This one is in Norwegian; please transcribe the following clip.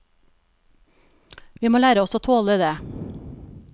Vi må lære oss å tåle det.